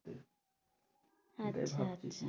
আচ্ছা আচ্ছা,